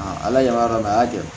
ala y'a dɔn a y'a gɛrɛ